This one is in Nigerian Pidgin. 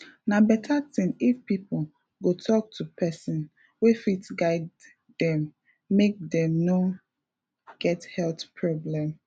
na better thing if people go talk to person wey fit guide dem make dem no get health problem